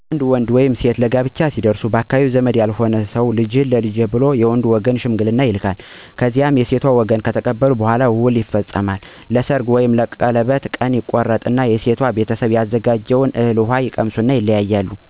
አንድ ወንድ ወይም ሴት ለ አቅመ አዳም ወይም ለጋብቻ ሲደርሱ ባካባቢው ዘመድ ያልሆነ ቤተሰብ ተመርጦ የከሌ ልጅ አለ/አለች ተብሎ ይጠቆማል። ቀጥሎ ደግሞ ሽማገሌ ይላካል፤ እሽ ከተባለ ውል ለመያዝ ቀን ቀጠሮ ይቀጠራል፤ የዉሉ ቀን ምን ምን ሀብት እነዳለ በሁለቱም ወገን እነዳቅማቸዉ ይመዘገባል በሽማግሌዎች፤ በዉሉ ቀንም እንዳቅማቸው የሰርግ ወይም የቀለበት ቀን ተቆርጦ፣ ከሴቷ ቤት የተዘጋጀውን እህል ውሃ ቀምሰው የሧም የሡም ሽማግሌዎች ይለያያሉ ማለት ነው።